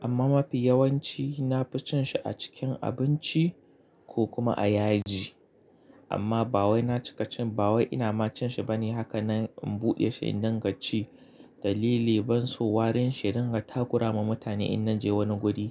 amma mafi yawanci na fi cin shi a cikin abinci ko kuma a yaji. Amma ba wai na cika cin, ba wai ina ma cin shi bane haka nan in buɗe shi in dinga ci. Dalili ban so warin shi dinga takura ma mutane in nan je wani guri.